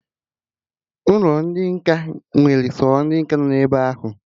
Ụlọ ndị nkà nwere sọ ndị nkà anọ ebe ahụ